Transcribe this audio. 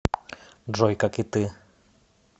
джой как и ты